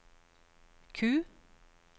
Q